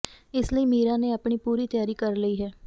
ਇਸ ਲਈ ਮੀਰਾ ਨੇ ਆਪਣੀ ਪੂਰੀ ਤਿਆਰੀ ਕਰ ਲਈ ਹੈ